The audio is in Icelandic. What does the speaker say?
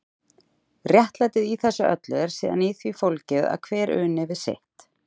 Réttlætið í þessu öllu er síðan í því fólgið að hver uni við sitt.